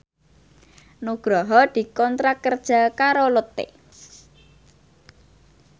Nugroho dikontrak kerja karo Lotte